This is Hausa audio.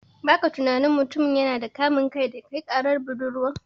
Baka tunani mutumin yana da kamun kai daya kai karar budurwan?